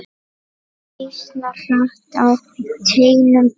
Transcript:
Býsna hratt á teinum fer.